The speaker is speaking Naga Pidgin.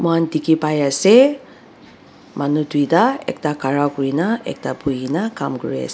dikhipaiase manu tuita ekta khara kurina ekta buhina kam kuriase.